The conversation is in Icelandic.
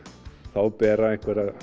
þá bera